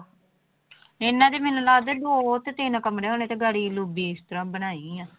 ਇਹਨਾਂ ਦੇ ਮੈਨੂੰ ਲੱਗਦਾ ਦੋ ਤੇ ਤਿੰਨ ਕਮਰੇ ਹੋਣੇ ਤੇ ਬਣਾਈ ਆ।